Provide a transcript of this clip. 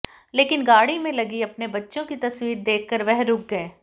लेकिन गाड़ी में लगी अपने बच्चों की तस्वीर देखकर वह रुक गए